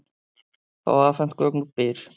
Fá afhent gögn úr Byr